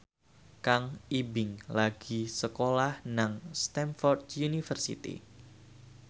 Kang Ibing lagi sekolah nang Stamford University